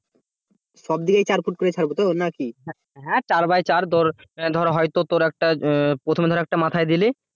হ্যাঁ চার বাই চার হয়তো তোর একটা প্রথমে ধর একটা মাথায় দিলি